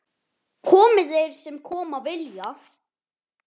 Komi þeir sem koma vilja-?